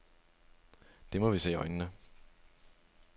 Det må vi se i øjnene.